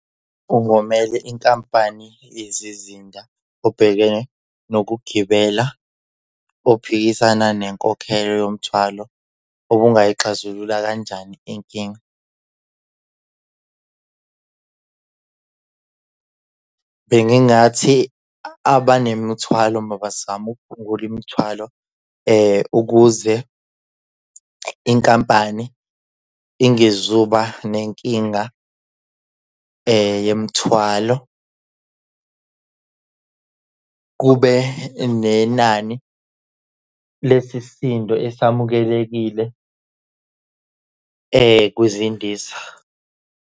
Ungomele inkampani yezizinda ubhekene nokugibela uphikisana nenkokhelo yomthwalo. Ubungayixazulula kanjani inkinga? Bengingathi abanemithwala mabazame ukuphungula imithwalo ukuze inkampani ingezuba nenkinga yemthwalo. Kube nenani lesisindo esamukelekile kwizindiza.